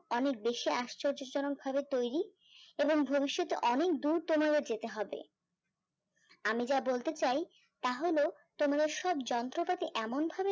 অনেক বেশি আশ্চর্য জনক ভাবে তৈরি এবং ভবিষ্যতে অনেক দূর তোমাদের যেতে হবে আমি যা বলতে চাই তাহলে তোমার সব যন্ত্রপাতি এমন ভাবে